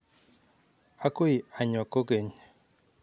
Akoi anyoo kokeny.